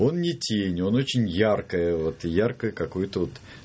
он не тень он очень яркое вот яркае какое-то вот